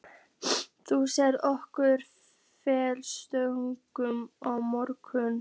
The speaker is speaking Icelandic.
Þú segir okkur ferðasöguna á morgun